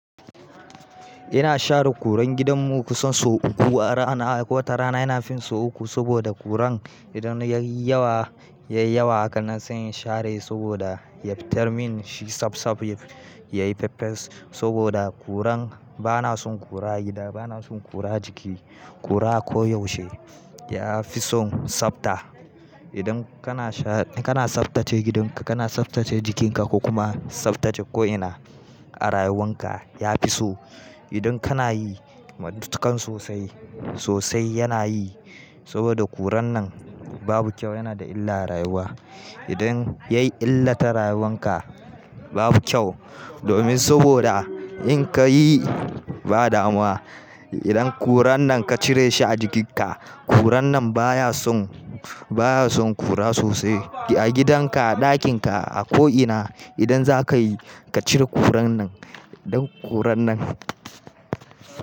Ina share kuran gidan mu kusan sau uku a rana, wata rana yana fin sau uku saboda kuran idan ya yi yawa, ya yi yawa haka na se in share shi saboda ya fitarmin shi tsab tsab ya yayi fefes saboda kuran bana son kura a gida, bana son kura ajiki, kura koyaushe ya fi son tsafta. Idan kana sha-- kana tsaftace gidanka, kana tsaftace jikinka ko kuma tsaftace ko'ina a rayuwanka ya fi so. Idan kana yi matuƙan sosai, sosai yana yi saboda kuran nan babu kyau, yana da illa a rayuwa. Idan ya yi illa ta rayuwanka babu kyau domin saboda in ka yi ba damuwa idan kuran nan ka cire shi a jikinka, kuran nan baya son, baya son kura sosai. A gidan ka, a ɗakin ka, a ko'ina idan za ka yi ka cire kuran nan, don kuran nan.